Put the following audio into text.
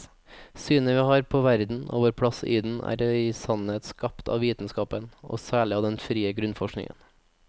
Synet vi har på verden og vår plass i den, er i sannhet skapt av vitenskapen, og særlig av den frie grunnforskningen.